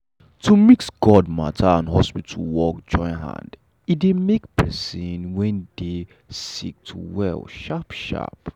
to mix god matter and hospital work join hand e dey make person when dey sick to well sharp sharp.